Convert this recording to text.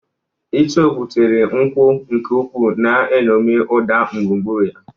Icheokwú tiri nkwu nke ukwuu, na-eṅomi ụda gburugburu ya.